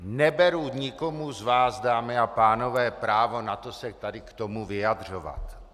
Neberu nikomu z vás, dámy a pánové, právo na to se tady k tomu vyjadřovat.